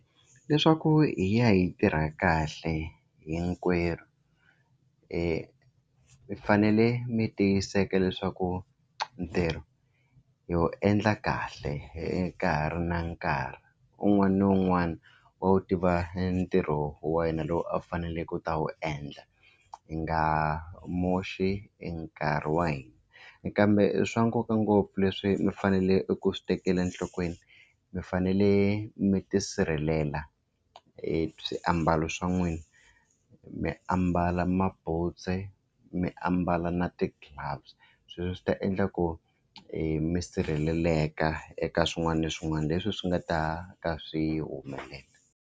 Leswaku hi ya yi tirha kahle hinkwerhu mi fanele mi tiyiseka leswaku ntirho yo endla kahle ka ha ri na nkarhi un'wana na un'wana wa wu tiva ntirho wa yena lowu a wu faneleke ku ta wu endla hi nga moxi e nkarhi wa hina kambe swa nkoka ngopfu leswi mi fanele ku swi tekela enhlokweni mi fanele mi tisirhelela e swiambalo swa n'wina mi ambala mabuntsu mi ambala na ti-gloves sweswo swi ta endla ku mi sirheleleka eka swin'wana na swin'wana leswi swi nga ta ka swi humelela.